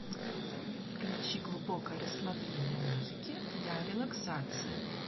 включи глубокое расслабление музыки для релаксации